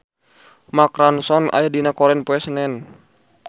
Mark Ronson aya dina koran poe Senen